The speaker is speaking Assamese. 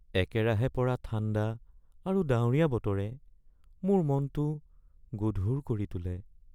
একেৰাহে পৰা ঠাণ্ডা আৰু ডাৱৰীয়া বতৰে মোৰ মনটো গধুৰ কৰি তোলে।